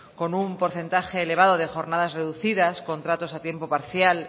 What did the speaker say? con un porcentaje elevado de jornadas reducidas contratos a tiempo parcial